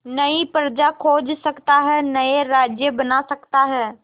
नई प्रजा खोज सकता है नए राज्य बना सकता है